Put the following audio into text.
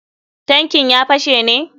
Tankin ya fashe ne.